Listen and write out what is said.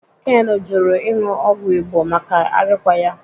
Ken jụrụ ịṅụ ọgwụ Igbo maka arịkwa ya.